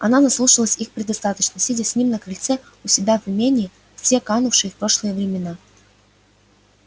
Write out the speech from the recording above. она наслушалась их предостаточно сидя с ним на крыльце у себя в имении в те канувшие в прошлое времена